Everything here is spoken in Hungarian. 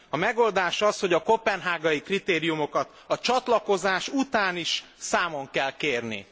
A megoldás az, hogy a koppenhágai kritériumokat a csatlakozás után is számon kell kérni.